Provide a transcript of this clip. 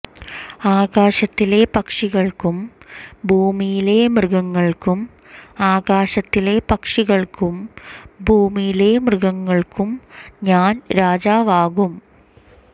ആകാശത്തിലെ പക്ഷികൾക്കും ഭൂമിയിലെ മൃഗങ്ങൾക്കും ആകാശത്തിലെ പക്ഷികൾക്കും ഭൂമിയിലെ മൃഗങ്ങൾക്കും ഞാൻ രാജാവാകും